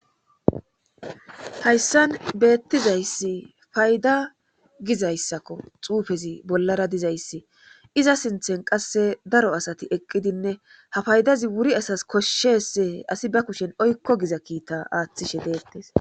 Hayssan beettizayssi payda gizayssakko xuufezi bollara dizayssi iza sinttan qassi daro asati eqqidinne ha fayidazi wuri asas koshshese asi ba kushen oykko giza kiita aattidi deettees.